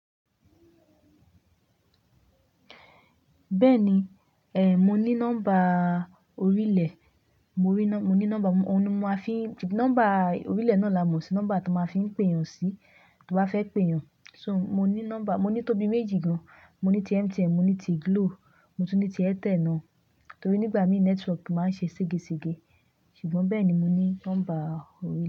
Bẹ́ẹ̀ni, mo ní nọ́mbà orílẹ̀, òun ni mo máa fi, nọ́mbà orílẹ̀ náà ni a mọ̀ sí nọ́mbà tí o máa fi ń pè èèyàn sí, tí o ba fẹ́ pè èèyàn. So, mo ní nọ́mbà, mo ní tóbi méjì gan, mo ní ti MTN, mo ní ti Glo, mo tún ní ti Airtel náà torí nígbà mìíràn network máa ń ṣe segẹsegẹ ṣùgbọ́n bẹ́ẹ̀ ni mo ní nọ́mbà orílẹ̀